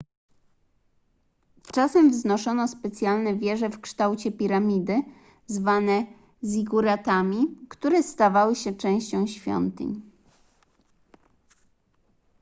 czasem wznoszono specjalne wieże w kształcie piramidy zwane ziguratami które stawały się częścią świątyń